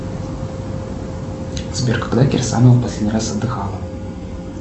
сбер когда кирсанова последний раз отдыхала